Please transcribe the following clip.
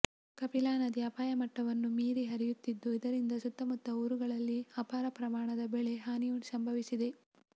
ಕಪಿಲಾ ನದಿ ಅಪಾಯ ಮಟ್ಟವನ್ನು ಮೀರಿ ಹರಿಯುತ್ತಿದ್ದು ಇದರಿಂದ ಸುತ್ತಮುತ್ತ ಊರುಗಳಲ್ಲಿ ಅಪಾರ ಪ್ರಮಾಣದ ಬೆಳೆ ಹಾನಿ ಸಂಭವಿಸಿದೆ